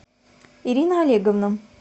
ирина олеговна